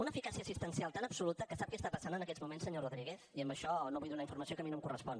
una eficàcia assistencial tan absoluta que sap què passa en aquests moments senyor rodríguez i amb això no vull donar informació que a mi no em correspon